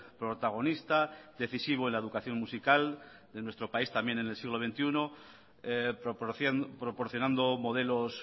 protagonista decisivo en la educación musical de nuestro país también en el siglo veintiuno proporcionando modelos